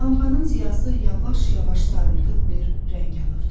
Lampanın ziyası yavaş-yavaş sarımtıl bir rəng alırdı.